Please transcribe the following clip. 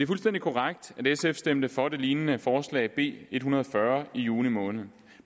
fuldstændig korrekt at sf stemte for det lignende forslag b en hundrede og fyrre i juni måned